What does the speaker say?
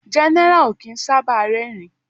General o kín sábà rerin